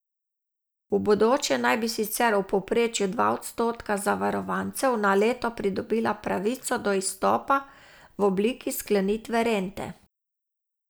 V bodoče naj bi sicer v povprečju dva odstotka zavarovancev na leto pridobila pravico do izstopa v obliki sklenitve rente.